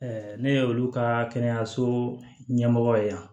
ne ye olu ka kɛnɛyaso ɲɛmɔgɔ ye yan